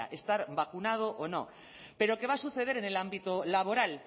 estar vacunado o no pero que va a suceder en el ámbito laboral